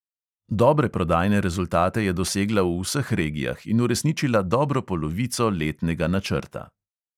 Dobre prodajne rezultate je dosegla v vseh regijah in uresničila dobro polovico letnega načrta.